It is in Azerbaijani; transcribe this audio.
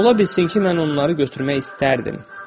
Ola bilsin ki, mən onları götürmək istərdim.